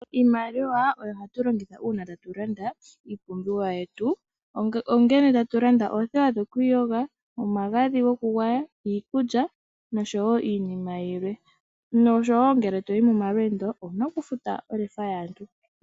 Iimaliwa oyo hatu longitha uuna tatu landa iipumbiwa yetu ,ongele tatu landa oothewa dhokwiiyoga omagadhi gokugwaya, iikulya nosho wo iinima yilwe. Nosho wo ngele to yi momalweendo owu na okufuta olefa yaantu.